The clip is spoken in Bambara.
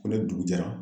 Ko ne dugu jɛra